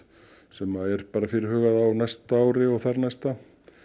sem er fyrirhugað á næsta ári og þarnæsta